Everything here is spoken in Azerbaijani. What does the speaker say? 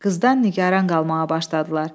Qızdan nigaran qalmağa başladılar.